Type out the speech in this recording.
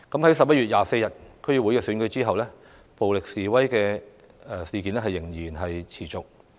在11月24日的區議會選舉後，暴力示威仍然持續。